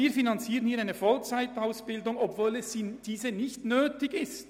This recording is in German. Aber wir finanzieren hier eine Vollzeitausbildung, obwohl diese nicht nötig ist.